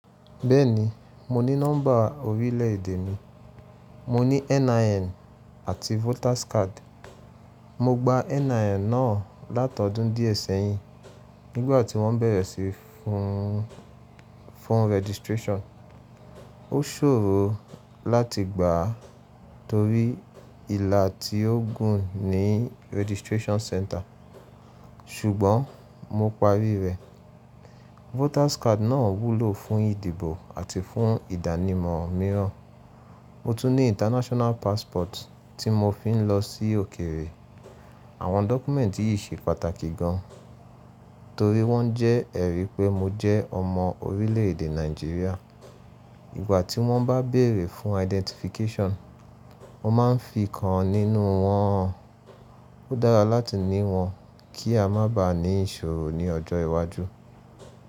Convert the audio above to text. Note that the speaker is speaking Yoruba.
Bẹ́ẹ̀ni, mo ní nọ́mbà orílẹ̀-èdè mi, mo ní NIN àti voters card. Mo gba NIN náà látọdún díẹ̀ sẹ́yìn nígbàtí wọ́n bẹ̀rẹ̀ sí fún registration. Ó ṣòro láti gbà á torí ìlà tí ó gùn ní registration center, ṣùgbọ́n mo parí rẹ̀. Voters card náà wúlò fún ìdìbò àti fún ìdánimọ̀ mìíràn. Mo tún ní international passport tí mo fi ń lọ sí òkèrè. Àwọn dọ́kúmẹ́ǹtì yìí ṣe pàtàkì gan, torí wọ́n jẹ́ ẹ̀rí pé mo jẹ́ ọmọ orílẹ̀ èdè Nàìjíríà. Ìgbà tí wọ́n bá béèrè fún identification, mo máa ń fi kan nínú wọn. Ó dára láti ní wọn kí a má ba à ní ìṣòro ní ọjọ́ iwájú.